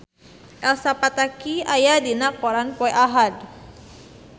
Elsa Pataky aya dina koran poe Ahad